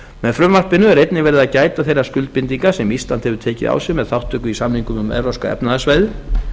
með frumvarpinu er einnig verið að gæta þeirra skuldbindinga sem ísland hefur tekið á sig með þátttöku í samningnum um evrópska efnahagssvæðið